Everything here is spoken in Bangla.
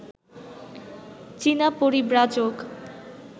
চীনা পরিব্রাজক